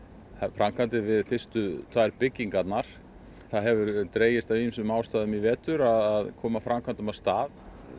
framkvæmdir við fyrstu tvær byggingarnar það hefur dregist af ýmsum ástæðum í vetur að koma framkvæmdum af stað